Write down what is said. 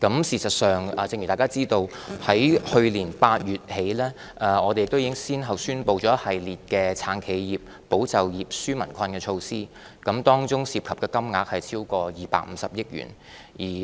事實上，正如大家知道，自去年8月起，我們已先後宣布了一系列"撐企業、保就業、紓民困"的措施，當中涉及的金額超過250億元。